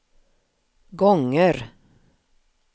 gånger